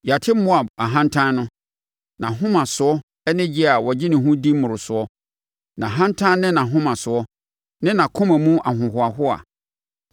“Yɛate Moab ahantan no nʼahomasoɔ ne gye a ɔgye ne ho di mmorosoɔ; nʼahantan ne nʼahomasoɔ, ne nʼakoma mu ahohoahoa.